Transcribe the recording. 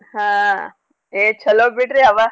ಹಾ ಏ ಚೊಲೋ ಬಿಡ್ರಿ ಅವ.